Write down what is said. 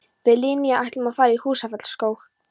Við Linja ætlum að fara í Húsafellsskóg.